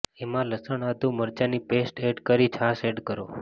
એમાં લસણ આદુ મરચાની પેસ્ટ એડ કરી છાશ એડ કરો